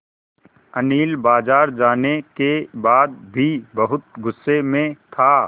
अनिल बाज़ार जाने के बाद भी बहुत गु़स्से में था